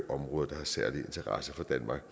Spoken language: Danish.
områder der har særlig interesse for danmark